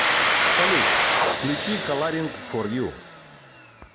салют включи каларинг фор ю